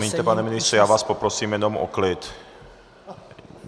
Promiňte, pane ministře, já vás poprosím jenom o klid.